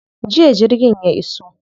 Jiya jirgin ya iso.